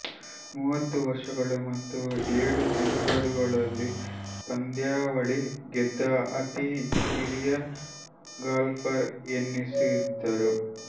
ಮೂವತ್ತು ವರ್ಷಗಳು ಮತ್ತು ಏಳು ತಿಂಗಳುಗಳಲ್ಲಿ ಪಂದ್ಯಾವಳಿ ಗೆದ್ದ ಅತೀ ಕಿರಿಯ ಗಾಲ್ಫರ್ ಎನಿಸಿದರು